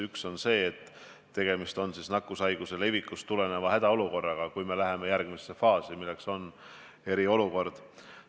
Üks on see, et tegemist on nakkushaiguse levikust tuleneva hädaolukorraga – alles siis me läheme järgmisse faasi, milleks on eriolukord.